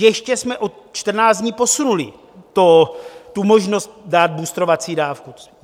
Ještě jsme o 14 dní posunuli tu možnost dát bustrovací dávku.